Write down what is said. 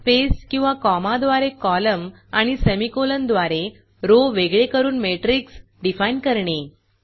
space किंवा कॉमाद्वारे column आणि सेमीकोलनद्वारे रो वेगळे करून मॅट्रिक्स डिफाईन करणे